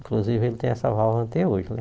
Inclusive, ele tem essa válvula até hoje, né?